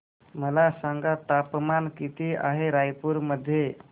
मला सांगा तापमान किती आहे रायपूर मध्ये